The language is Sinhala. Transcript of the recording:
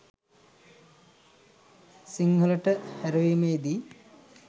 සිංහලට හෑරවීමේදී